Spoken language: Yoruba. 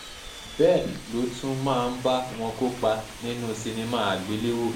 bẹ́ẹ̀ ló tún máa ń bá wọn kópa nínú sinimá àgbéléwò